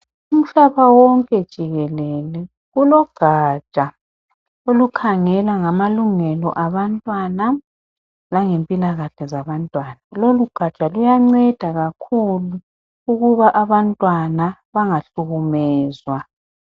Uhlaba wonke jikelele kulogatsha olukhangela ngamalungelo abantwana langempilakahle zabantwana lolugatsha luyanceda kakhulu ukuba abantwana bengahlukumezwa.